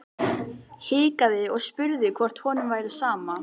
Hikaði og spurði hvort honum væri sama.